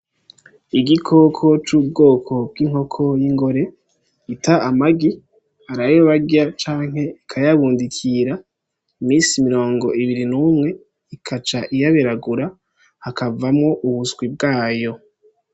Igikoko c'ubwoko y'ingore ita amagi hariyo ayobarya canke bakayabundikira imisi mirongo ibiri n'umwe ikaca iyaberagura hakavamwo ubuswi bwayo.